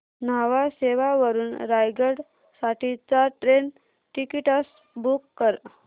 न्हावा शेवा वरून रायगड साठी चार ट्रेन टिकीट्स बुक कर